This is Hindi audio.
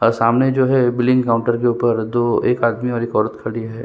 और सामने जो है वो बिलिंग काउंटर के ऊपर दो एक आदमी और एक औरत खड़ी है।